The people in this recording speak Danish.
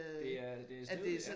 Det er det steget ja